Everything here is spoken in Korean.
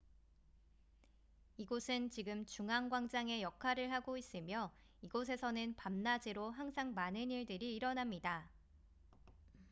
이곳은 지금 중앙 광장의 역할을 하고 있으며 이곳에서는 밤낮으로 항상 많은 일들이 일어납니다